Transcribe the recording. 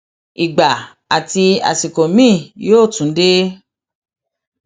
ìgbà àti àsìkò miín yóò tún dé